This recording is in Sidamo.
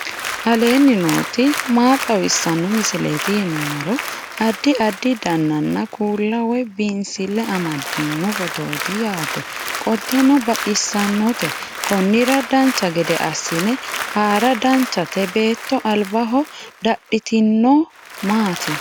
aleenni nooti maa xawisanno misileeti yinummoro addi addi dananna kuula woy biinsille amaddino footooti yaate qoltenno baxissannote konnira dancha gede assine haara danchate beetto albaho dadhitinojhu maati